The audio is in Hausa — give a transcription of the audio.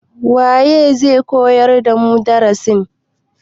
waye zai koyar damu darasin?